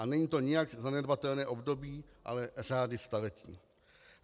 A není to nijak zanedbatelné období, ale řády staletí.